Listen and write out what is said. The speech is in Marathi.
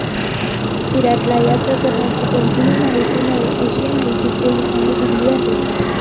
विराटला या प्रकरणाची कोणतीही माहिती नाही, अशी माहिती पोलिसांनी दिली आहे.